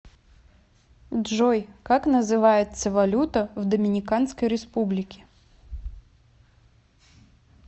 джой как называется валюта в доминиканской республике